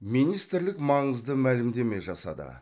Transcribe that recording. министрлік маңызды мәлімдеме жасады